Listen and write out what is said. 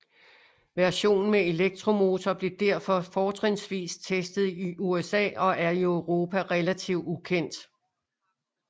Versionen med elektromotor blev derfor fortrinsvis testet i USA og er i Europa relativt ukendt